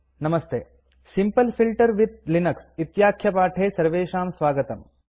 नमस्ते simple filters with Linux इत्याख्यपाठे सर्वेषां स्वागतम्